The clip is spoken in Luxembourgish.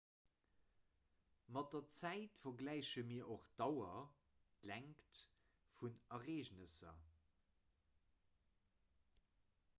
mat der zäit vergläiche mir och d'dauer längt vun ereegnesser